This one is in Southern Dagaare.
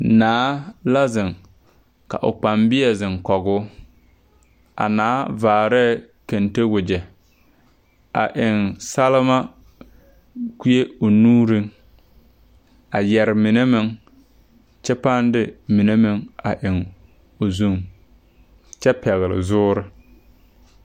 Naa la zeŋ ka o kpaŋbeɛ zeŋ kɔgoo a naa vaarɛɛ kente wagyɛ a eŋ salma kuee o nuuriŋ a yɛre mine meŋ kyɛ pãã de mine meŋ a eŋ o zu kyɛ pɛgle zuure.